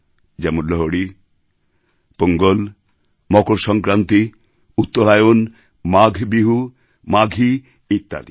যেমন লোহড়ী পোঙ্গল মকর সংক্রান্তি উত্তরায়ণ মাঘ বিহু মাঘী ইত্যাদি